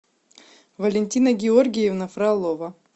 валентина георгиевна фролова